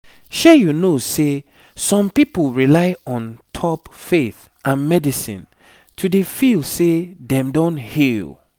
shey you know seh some people rely on top faith and medicine to dey feel seh them don heal